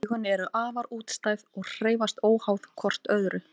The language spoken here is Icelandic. Augun eru afar útstæð og hreyfast óháð hvort öðru.